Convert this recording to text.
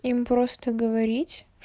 им просто говорить